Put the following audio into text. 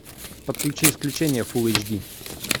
подключи исключение фулл эйч ди